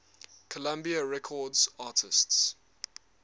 columbia records artists